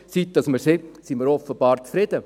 Seit man es hat, sind wir offenbar zufrieden.